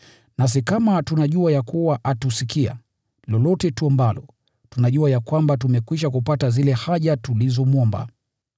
Nasi kama tunajua atusikia, lolote tuombalo, tunajua ya kwamba tumekwisha kupata zile haja tulizomwomba.